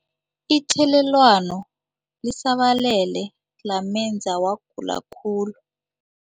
Ithelelwano lisabalele lamenza wagula khulu.